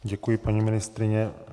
Děkuji, paní ministryně.